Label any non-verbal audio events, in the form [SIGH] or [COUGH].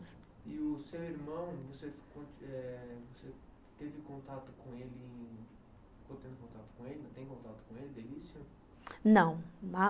E o seu irmão, você teve [UNINTELLIGIBLE] contato com ele? [UNINTELLIGIBLE]